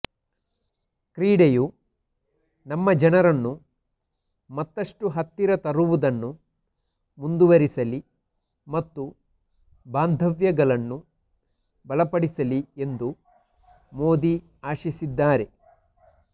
ಕ್ರೀಡೆಯು ನಮ್ಮ ಜನರನ್ನು ಮತ್ತಷ್ಟು ಹತ್ತಿರ ತರುವುದನ್ನು ಮುಂದುವರಿಸಲಿ ಮತ್ತು ಬಾಂಧವ್ಯಗಳನ್ನು ಬಲಪಡಿಸಲಿ ಎಂದು ಮೋದಿ ಆಶಿಸಿದ್ದಾರೆ